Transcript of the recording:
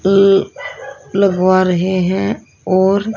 अल लगवा रहे हैं और--